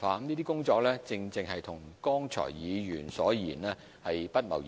這些工作正正與議員所言不謀而合。